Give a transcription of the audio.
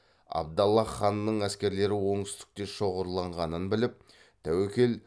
абдаллах ханның әскерлері оңтүстікте шоғырланғанын біліп тәуекел